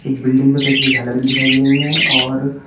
building में कई सारी झालर भी दिखाई दे रही है और--